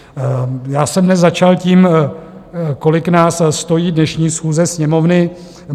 Já jsem dnes začal tím, kolik nás stojí dnešní schůze Sněmovny.